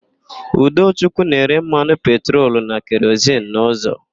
Udochukwu na-ere mmanụ petrolu na kerozin n'ụzọ.